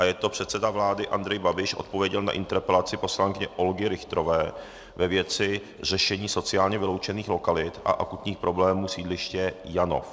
A je to - předseda vlády Andrej Babiš odpověděl na interpelaci poslankyně Olgy Richterové ve věci řešení sociálně vyloučených lokalit a akutních problémů sídliště Janov.